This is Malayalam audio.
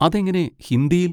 അതെങ്ങനെ ഹിന്ദിയിൽ?